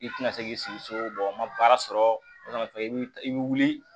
I tina se k'i sigi so n ma baara sɔrɔ i bi wuli